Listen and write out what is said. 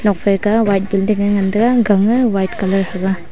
phai kau ma white building nge ngan tega gang nge white colour thega.